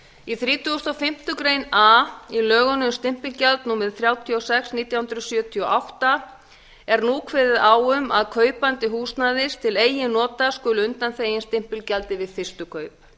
í þrítugasta og fimmtu grein a í lögum um stimpilgjald númer þrjátíu og sex nítján hundruð sjötíu og átta er nú kveðið á um að kaupandi húsnæðis til eigin nota skuli undanþeginn stimpilgjaldi við fyrstu kaup